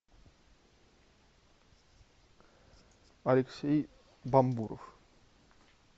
алексей бамбуров